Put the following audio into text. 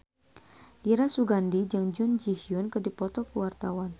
Dira Sugandi jeung Jun Ji Hyun keur dipoto ku wartawan